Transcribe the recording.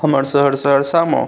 हमर शहर सहरसा म --